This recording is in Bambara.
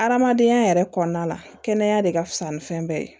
Adamadenya yɛrɛ kɔnɔna la kɛnɛya de ka fusa ni fɛn bɛɛ ye